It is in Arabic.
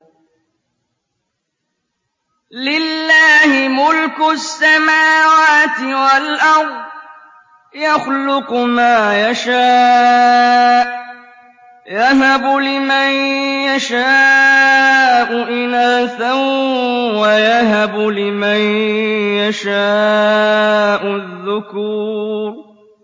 لِّلَّهِ مُلْكُ السَّمَاوَاتِ وَالْأَرْضِ ۚ يَخْلُقُ مَا يَشَاءُ ۚ يَهَبُ لِمَن يَشَاءُ إِنَاثًا وَيَهَبُ لِمَن يَشَاءُ الذُّكُورَ